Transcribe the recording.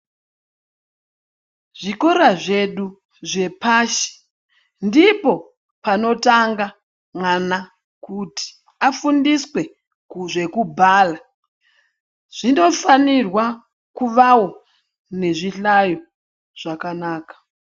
Zvikora zvedu zvepashi ndipo panotanga mwana kuti afundiswe zvekubhala zvinofanirwawo kuvawo nezvihlayo zvakanaka.